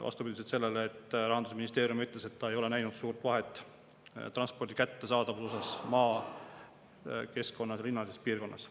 Vastupidi sellele, mis Rahandusministeerium ütles, et ta ei ole näinud suurt vahet transpordi kättesaadavuse puhul maakeskkonnas või linnalises piirkonnas.